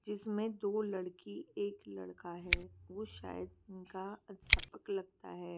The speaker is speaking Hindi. जिसमे दो लडकी एक लड़का है वो सायद उनका अध्यापक लगता है।